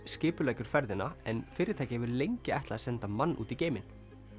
skipuleggur ferðina en fyrirtækið hefur lengi ætlað að senda mann út í geim